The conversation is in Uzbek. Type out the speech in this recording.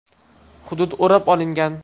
Hudud o‘rab olingan.